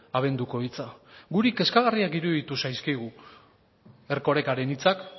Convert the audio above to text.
abenduko hitza guri kezkagarriak iruditu zaizkigu erkorekaren hitzak